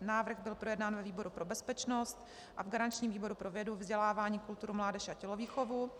návrh byl projednán ve výboru pro bezpečnost a v garančním výboru pro vědu, vzdělávání, kulturu, mládež a tělovýchovu.